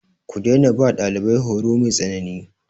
Ku daina ba ɗalibai horo mai tsanani.